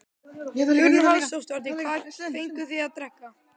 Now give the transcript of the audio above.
Hugrún Halldórsdóttir: Hvað fenguð þið að drekka?